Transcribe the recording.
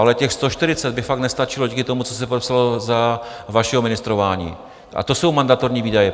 Ale těch 140 by fakt nestačilo díky tomu, co se podepsalo za vašeho ministrování, a to jsou mandatorní výdaje.